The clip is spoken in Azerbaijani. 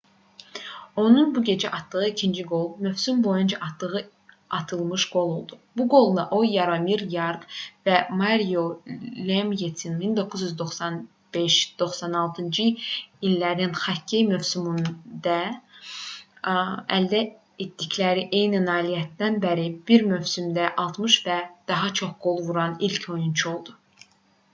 onun bu gecə atdığı ikinci qol mövsüm boyunca atdığı altmışıncı qol oldu. bu qolla o yaromir yaqr və mario lemyenin 1995-96-cı illərin xokkey mövsümündə əldə etdikləri eyni nailiyyətdən bəri bir mövsümdə 60 və daha çox qol vuran ilk oyunçu oldu